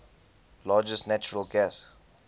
largest natural gas